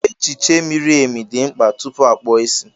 Echiche miri emi dị mkpa tupu a kpụọ isi.